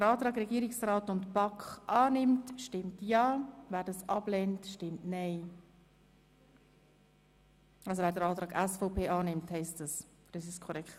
Wer den Antrag Regierungsrat und BaK annimmt, stimmt Ja, und wer den Antrag SVP annimmt, stimmt Nein.